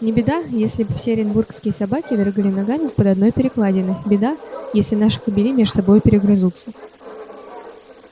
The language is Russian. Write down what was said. не беда если б и все оренбургские собаки дрыгали ногами под одной перекладиной беда если наши кобели меж собою перегрызутся